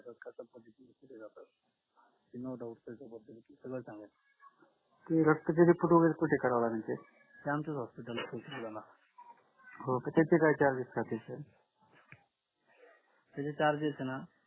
किंवा रक्ताचे report वगैरे check करा लागेल